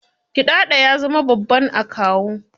Gidado ya zama babban akawu.